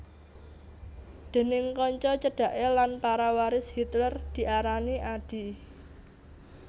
Déning kanca cedhaké lan para waris Hitler diarani Adi